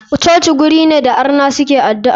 Coci guri ne da arna suke adu'a.